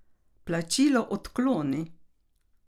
Plačilo odkloni.